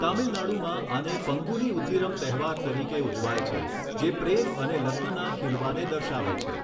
તમિલનાડુમાં આને પંગુની ઉથિરમ તહેવાર તરીકે ઉજવાય છે જે પ્રેમ અને લગ્નના ખીલવાને દર્શાવે છે.